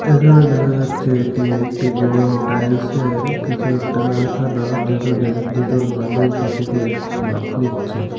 এখানে দেখা যাচ্ছে এটি একটি বড় টাইলসের কিছু একটা কারখানা যেখানে দুজন মানুষ এটিকে মাপ নিচ্ছে।